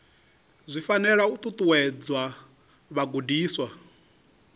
zwi fanela u ṱuṱuwedza vhagudiswa